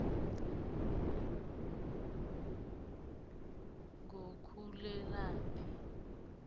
ngukhulelaphi